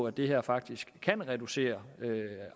at det her faktisk kan reducere